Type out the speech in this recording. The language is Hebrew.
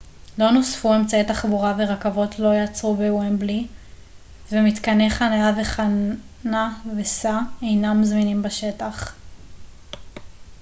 לא נוספו אמצעי תחבורה ורכבות לא יעצרו בוומבלי ומתקני חנייה וחנה וסע אינם זמינים בשטח